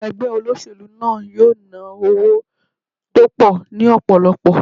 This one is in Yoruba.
Ẹgbẹ́ olóṣèlú náà yóò ná owó tó pọ̀ ní ọ̀pọ̀lọpọ̀.